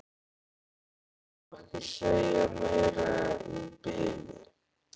Ég má ekki segja meira í bili.